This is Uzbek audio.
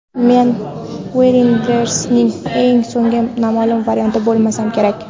men weirdness ning eng so‘nggi nomaʼlum varianti bo‘lsam kerak.